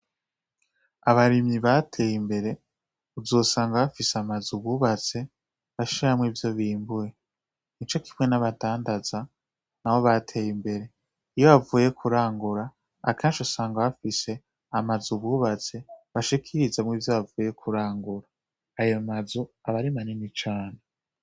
Abarimyi bateye imbere, uzosanga bafise amazu bubatse bashiramwo ivyo bimbura. Nico kimwe naba dandaza nabo bateye imbere, iyo bavuye kurangura, akenshi usanga bafise amazu bubatse, bashikirizamwo ivyo bavuye kurangura. Ayo mazu aba ari manini cane.